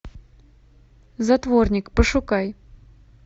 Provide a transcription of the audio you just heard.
затворник пошукай